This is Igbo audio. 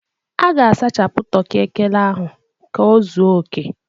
A ga-asachapụ toki ekele ahụ ka ọ zuo oke